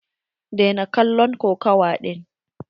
Daina kallon kokawa ɗin.